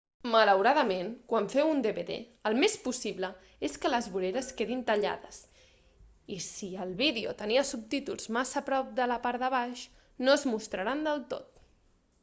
malauradament quan feu un dvd el més possible és que les voreres quedin tallades i si el vídeo tenia subtítols massa a prop de la part de baix no es mostraran del tot